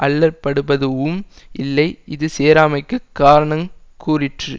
அல்லற்படுப்பதூஉம் இல்லை இது சேராமைக்குக் காரணங் கூறிற்று